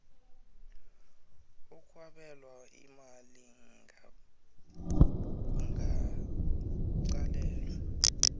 okwabelwa imali kungaqalelelwa